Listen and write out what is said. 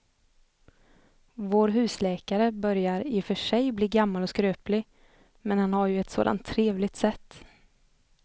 Vår husläkare börjar i och för sig bli gammal och skröplig, men han har ju ett sådant trevligt sätt!